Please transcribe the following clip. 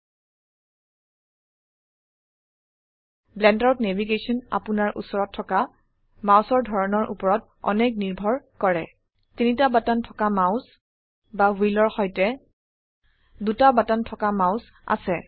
ব্লেন্ডাৰত navigation আপোনাৰ উচৰত থকামাউসৰ ধৰনৰ উপৰত অনেক নিৰ্ভৰ কৰে তিনিটা বাটন থকা মাউচ বা হুইলৰ সৈতে 2টা বাটন থকা মাউস আছে